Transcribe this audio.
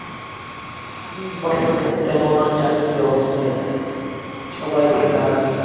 হম বাংলাদেশে তেমন আর চাকরির অবস্থাই নাই, সবাই বেকার।